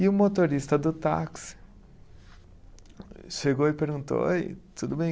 E o motorista do táxi chegou e perguntou, Oi, tudo bem?